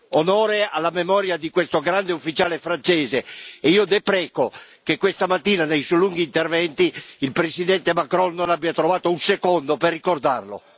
Onore alla memoria di questo grande ufficiale francese e io depreco che questa mattina, nei suoi lunghi interventi, il Presidente Macron non abbia trovato un secondo per ricordarlo.